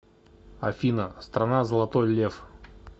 афина страна золотой лев